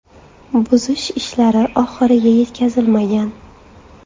Buzish ishlari oxiriga yetkazilmagan.